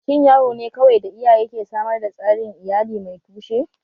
Shin yaro ne kawai da iyaye ke samar da tsarin iyali mai tushe?